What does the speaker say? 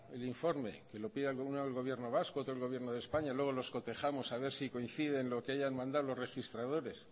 el informe que lo pida uno al gobierno vasco otro al gobierno de españa luego los cotejamos a ver si coincide lo que hayan mandado los registradores